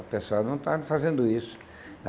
O pessoal não estava fazendo isso.